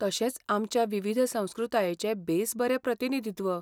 तशेंच आमच्या विविध संस्कृतायेचें बेस बरें प्रतिनिधित्व.